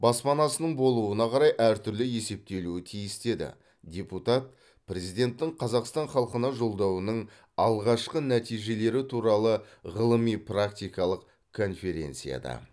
баспанасының болуына қарай әртүрлі есептелуі тиіс деді депутат президенттің қазақстан халқына жолдауының алғашқы нәтижелері туралы ғылыми практикалық конференцияда